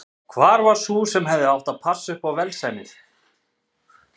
Hvar var sú sem hefði átt að passa upp á velsæmið?